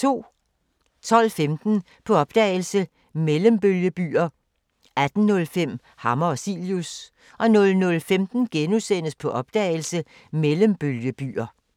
12:15: På opdagelse – Mellembølgebyer 18:05: Hammer og Cilius 00:15: På opdagelse – Mellembølgebyer *